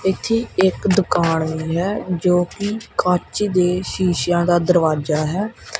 ਇੱਥੇ ਇੱਕ ਦੁਕਾਨ ਵੀ ਹੈ ਜੋ ਕਿ ਕੱਚ ਦੇ ਸ਼ੀਸ਼ੇਆਂ ਦਾ ਦਰਵਾਜਾ ਹੈ।